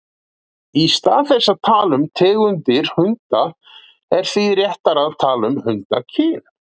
Í stað þess að tala um tegundir hunda er því réttara að tala um hundakyn.